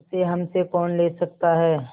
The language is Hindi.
उसे हमसे कौन ले सकता है